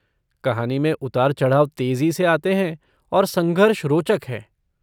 कहानी में उतारचढ़ाव तेजी से आते हैं और संघर्ष रोचक हैं।